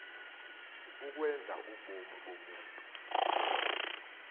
ukwenza ubomi bomntu